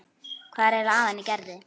Hvað er eiginlega að henni Gerði.